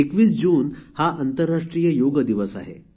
२१ जून हा आंतरराष्ट्रीय योग दिवस आहे